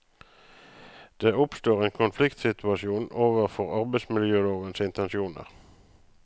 Det oppstår en konfliktsituasjon overfor arbeidsmiljølovens intensjoner.